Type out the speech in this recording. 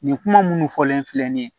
Nin kuma munnu fɔlen filɛ nin ye